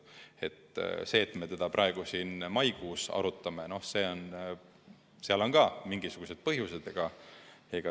Sellel, et me seda praegu maikuus arutame, on ka mingisugused põhjused.